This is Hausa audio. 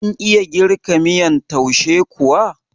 Kin iya girka miyan taushe kuwa?